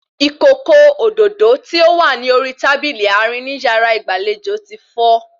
Ìkòkò òdòdó tí ó wà ní orí tábìlì àárín ní yàrá ìgbàlejò ti fọ́